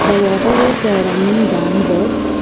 The water is running down words.